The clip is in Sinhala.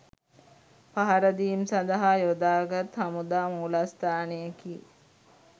පහරදීම් සඳහා යොදාගත් හමුදා මූලස්ථානයකි.